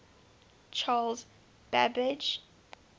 charles babbage